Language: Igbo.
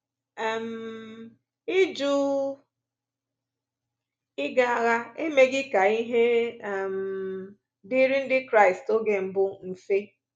um Ịjụ ịga agha emeghị ka ihe um dịrị Ndị Kraịst oge mbụ mfe.